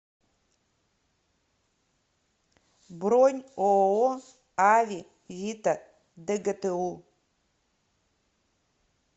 бронь ооо аве вита дгту